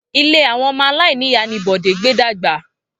Ilé àwon omo aláìníyàá ni Bòdé gbé dàgbà